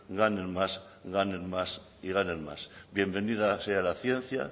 ganen más ganen más y ganen más bienvenida sea la ciencia